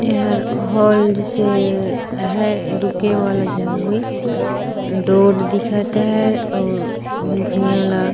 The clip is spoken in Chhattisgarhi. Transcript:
एहर हॉल जइसे आहें ढुके वाला जगह होही डोर दिखत हे और भुईयया ल--